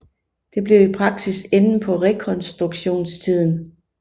Det blev i praksis enden på rekonstruktionstiden